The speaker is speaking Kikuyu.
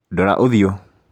Ndora ũthiũ